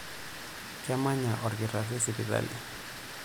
Kemanya olkitarri sipitali.